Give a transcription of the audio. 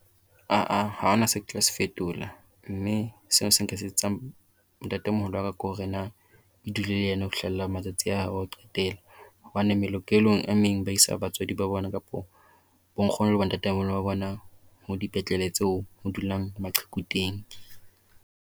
Ah-ah ha ho na se ke tla se fetola mme seo se nka se etsetsang ntate moholo wa ka ko hore na ke dule le yena ho fihlella matsatsi a hae a ho qetela. Hobane melokelong e meng ba isa batswadi ba bona kapo bo nkhono le bo ntatemoholo ba bona ho dipetlele tseo ho dulang maqheku teng.